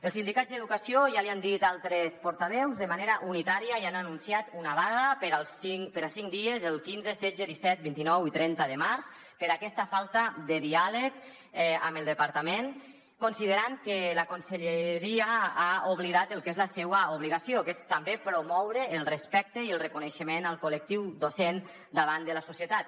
els sindicats d’educació ja l’hi han dit altres portaveus de manera unitària ja han anunciat una vaga per a cinc dies el quinze setze disset vint nou i trenta de març per aquesta falta de diàleg amb el departament considerant que la conselleria ha oblidat el que és la seua obligació que és també promoure el respecte i el reconeixement al col·lec·tiu docent davant de la societat